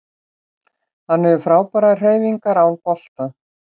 Hann hefur frábærar hreyfingar án bolta